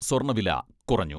സ്വർണവില കുറഞ്ഞു.